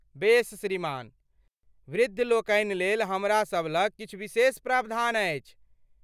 बेस श्रीमान। वृद्ध लोकनि लेल हमरा सभलग किछु विशेष प्रावधान अछि।